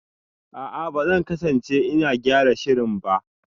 A'a, ba zan kasance ina gyara shirin ba